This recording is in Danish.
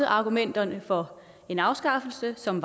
argumenterne for en afskaffelse som